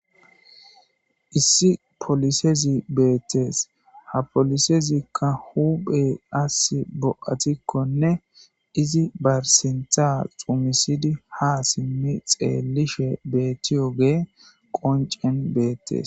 Issi polisezi beetees. Ha polisezikka hophphe asi bo7atikonne izi ba sinththa xummisidi ha simmi xeelishe beetiyoge qoccen beetees.